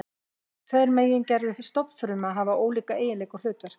Þessar tvær megingerðir stofnfrumna hafa ólíka eiginleika og hlutverk.